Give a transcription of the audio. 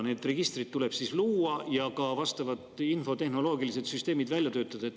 Need registrid tuleb siis luua ja ka vastavad infotehnoloogilised süsteemid välja töötada.